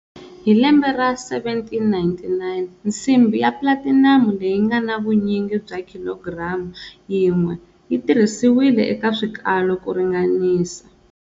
Hi lembe ra 1799, nsimbhi ya platinamu leyi ngana vunyingi bya khilogiramu yin'we yi tirhisiwile eka swikalo ku ringanisa.